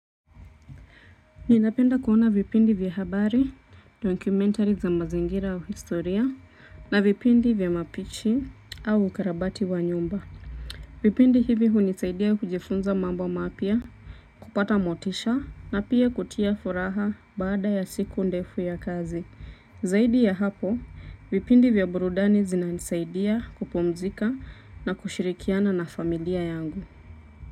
Ninapenda kuona vipindi vya habari, documentary za mazingira au historia na vipindi vya mapishi au ukarabati wa nyumba. Vipindi hivi hunisaidia kujifunza mambo mapya kupata motisha na pia kutia furaha baada ya siku ndefu ya kazi. Zaidi ya hapo, vipindi vya burudani zina nisaidia kupumzika na kushirikiana na familia yangu.